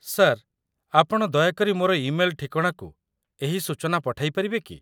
Sir, ଆପଣ ଦୟାକରି ମୋର ଇମେଲ୍‌ ଠିକଣାକୁ ଏହି ସୂଚନା ପଠେଇ ପାରିବେ କି?